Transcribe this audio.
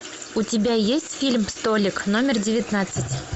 у тебя есть фильм столик номер девятнадцать